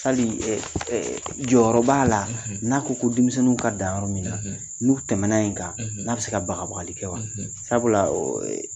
jɔyɔrɔ b'a la n'a ko ko denmisɛnninw ka dan yɔrɔ min na n'u tɛmɛna yen kan n'a bɛ se ka bagabagabali kɛ wa sabula